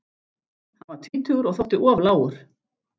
Hann var tvítugur og þótti of lágur.